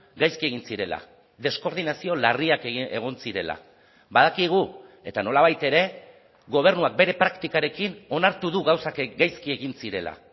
gaizki egin zirela deskoordinazio larriak egon zirela badakigu eta nolabait ere gobernuak bere praktikarekin onartu du gauzak gaizki egin zirela